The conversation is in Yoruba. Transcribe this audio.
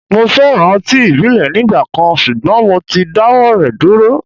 Mo féràn ọtí ìbílẹ̀ nígbà kan, ṣùgbọ́n mo ti dáwọ́ rẹ̀ dúró.